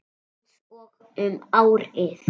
Einsog um árið.